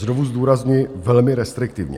Znovu zdůrazňuji, velmi restriktivně.